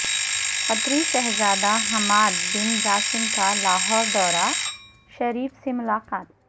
قطری شہزادہ Hamad bin Jassim کا لاہور دورہ شریف سے ملاقات